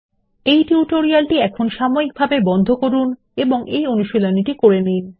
এই টিউটোরিয়ালটি এখন সময়িকভাবে বন্ধ করুন এবং এই অনুশীলনী টি করে নিন